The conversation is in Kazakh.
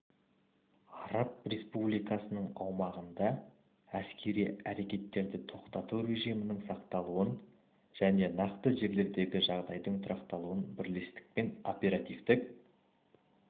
араб республикасының аумағында әскери әрекеттерді тоқтату режимінің сақталуын және нақты жерлердегі жағдайдың тұрақталуын бірлескен оперативтік